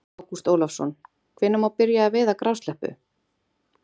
Ágúst Ólafsson: Hvenær má byrja að veiða grásleppu?